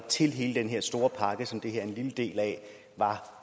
til hele den her store pakke som det her er en lille del af var